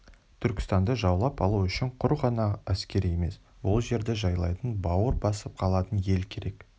түркістанды жаулап алу үшін құр ғана әскер емес ол жерді жайлайтын бауыр басып қалатын ел керек